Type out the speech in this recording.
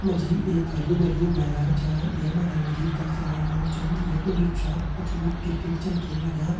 यम्मा जी एक हर्युं-भर्युं मैदान चा ये मैदान मा जी कई सारा लोग छन यखमा जी जु छा कुछ लोग किरकेट छन खिन लग्यां।